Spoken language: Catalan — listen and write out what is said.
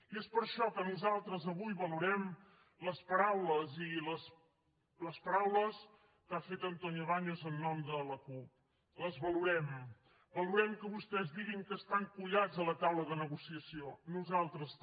i és per això que nosaltres avui valorem les paraules que ha fet antonio baños en nom de la cup les valorem valorem que vostès diguin que estan collats a la taula de negociació nosaltres també